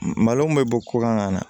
Malo min bɛ bɔ ko kan ka na